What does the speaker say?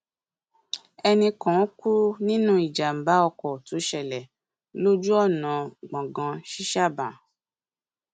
ẹnì kan kú nínú ìjàmbá ọkọ tó ṣẹlẹ lójú ọnà gbọngàn ṣíṣàbàn